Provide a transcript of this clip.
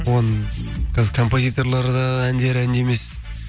оның қазір композиторлар да әндері ән де емес